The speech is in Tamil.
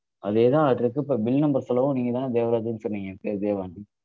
அதேதான் அதில இருக்கிற bill number சொல்லவும் நீங்கதானே தேவராஜ்னு சொன்னீங்க என் பெயர் தேவானு.